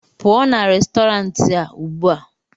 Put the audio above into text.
pụọ na Restọrantị a ugbu a!